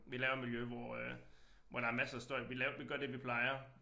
Vi laver miljø hvor øh hvor der masser af støj vi lav vi gør det vi plejer